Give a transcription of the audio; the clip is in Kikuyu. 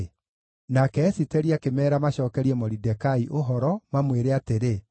Nake Esiteri akĩmeera macookerie Moridekai ũhoro, mamwĩre atĩrĩ,